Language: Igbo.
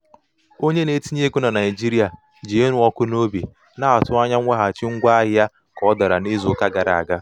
onye na-etinye ego na naijiria ji ịnụ ọkụ n'obi um na-atụ anya mweghachi ahịa ngwaahịa ahịa ka ọ dara um n'izu uka gara aga.